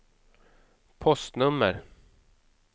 postnummer